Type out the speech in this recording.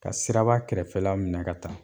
Ka siraba kɛrɛfɛ minɛ ka ta